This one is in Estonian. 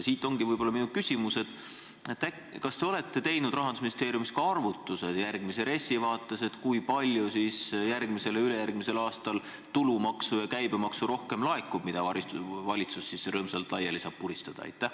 Siit tulenebki minu küsimus: kas te olete teinud Rahandusministeeriumis ka arvutused järgmise RES-i vaates, kui palju rohkem laekub järgmisel ja ülejärgmisel aastal tulumaksu ja käibemaksu, mida valitsus saab rõõmsalt laiali puristada?